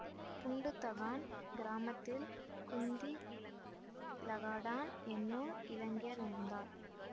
புண்டு தகான் கிராமத்தில் குந்திங் லகாடான் என்னும் இளைஞர் இருந்தார்